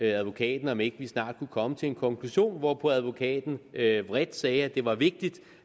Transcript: advokaten om ikke snart de kunne komme til en konklusion hvorpå advokaten vredt vredt sagde at det var vigtigt